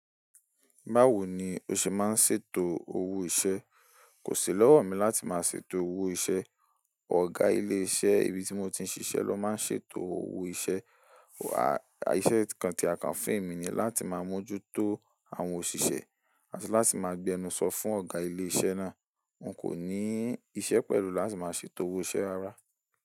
Báwo ni o ṣe máa ń ṣètò owó iṣẹ́? Kò sí lọ́wọ̀ mi láti máa ṣètò owó iṣẹ́, ọ̀gá ilé iṣẹ́ ibi tí mo ti ń ṣiṣẹ́ lọ má ń ṣètò owó iṣẹ́. Ìṣè kan tí a kàn fún èmi ni láti máa mójútó àwọn òṣìṣẹ́ àti láti máa gbé ẹnu sọ fún ọ̀gá ilé iṣẹ́ náà. N kò ní iṣẹ́ pẹ̀lú láti máa ṣètò owó iṣẹ́ ara.